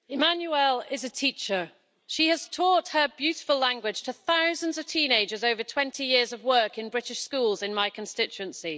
Madam President, Emmanuelle is a teacher. She has taught her beautiful language to thousands of teenagers over 20 years of work in British schools in my constituency.